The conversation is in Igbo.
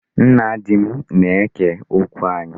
Nna di m na-eke okwu anyị.